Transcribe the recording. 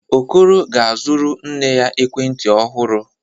Okoro ga-azụrụ nne ya ekwentị ọhụrụ.